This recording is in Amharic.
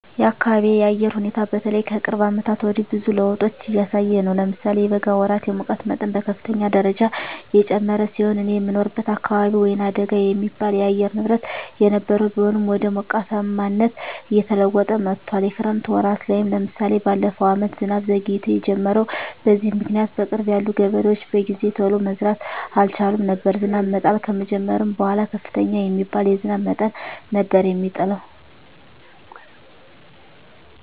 የአካቢየ የአየር ሁኔታ በተለይ ከቅርብ አመታት ወዲህ ብዙ ለዉጦች እያሳየ ነው። ለምሳሌ የበጋ ወራት የሙቀት መጠን በከፍተኛ ደረጃ የጨመረ ሲሆን እኔ የምኖርበት አካባቢ ወይናደጋ የሚባል የአየር ንብረት የነበረው ቢሆንም ወደ ሞቃታማነት እየተለወጠ መጥቶአል። የክረምት ወራት ላይም ለምሳሌ በለፈው አመት ዝናብ ዘግይቶ የጀመረው። በዚህም ምክኒያት በቅርብ ያሉ ገበሬዎች በጊዜ ቶሎ መዝራት አልቻሉም ነበር። ዝናብ መጣል ከጀመረም በኃላ ከፍተኛ የሚባል የዝናብ መጠን ነበር የሚጥለው።